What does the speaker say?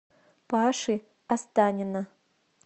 паши останина